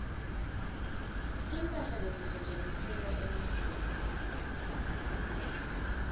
timphahla letisetjentiselwa emasiko